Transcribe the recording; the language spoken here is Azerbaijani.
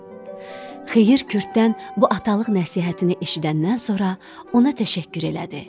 Xeyir Kürddən bu atalıq nəsihətini eşidəndən sonra ona təşəkkür elədi.